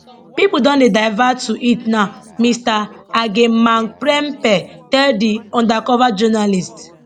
pipo don dey divert to it now mr agyemangprempeh tell di undercover journalist